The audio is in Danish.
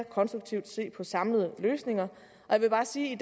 konstruktivt på samlede løsninger og jeg vil bare sige